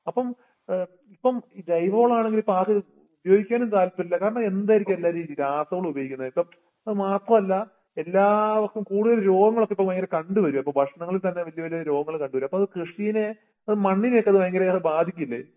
അപ്പം അഹ് ഇപ്പം ജൈവവളവാണെങ്കില്ഉയയോഗിക്കാനുംതാല്പര്യമില്ല കാരണെന്താരിക്കുല്ലാരുരു രാസവളമുപയോഗിക്കുന്നെ ഇപ്പം അതമാത്രല്ല എല്ലാവർക്കും കൂടുതല് രോഗങ്ങളൊക്കെയിപ്പോ കണ്ടുവരുവ അപ്പോ ഭക്ഷങ്ങളിൽത്തന്നെ വല്യവല്യ രോഗങ്ങള് കണ്ടുവരുവ അപ്പോത്കൃഷീനെ അത് മണ്ണിനെക്കെത് ഭയങ്കരേറെ ബാധിക്കില്ലെ.